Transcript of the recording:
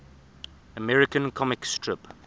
american comic strip